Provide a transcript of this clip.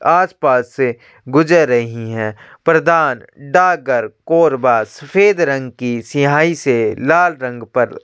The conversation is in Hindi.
आसपास से गुजर रही है प्रदान डाकघर कोरबा सफेद रंग की स्याही से लाल रंग पर--